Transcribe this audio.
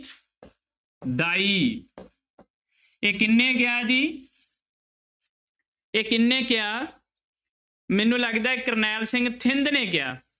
ਦਾਈ ਇਹ ਕਿਹਨੇ ਕਿਹਾ ਜੀ ਇਹ ਕਿਹਨੇ ਕਿਹਾ, ਮੈਨੂੰ ਲੱਗਦਾ ਹੈ ਕਰਨੈਲ ਸਿੰਘ ਥਿੰਦ ਨੇ ਕਿਹਾ।